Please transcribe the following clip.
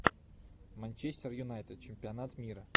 манчестер юнайтед чемпионат мира